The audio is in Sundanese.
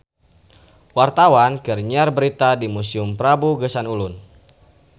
Wartawan keur nyiar berita di Museum Prabu Geusan Ulun